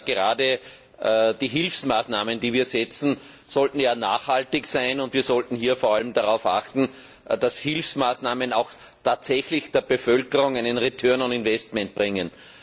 Gerade die Hilfsmaßnahmen, die wir setzen, sollten ja nachhaltig sein, und wir sollten hier vor allem darauf achten, dass Hilfsmaßnahmen auch tatsächlich der Bevölkerung einen bringen.